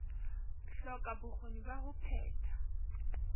hloka bokgoni ba ho phetha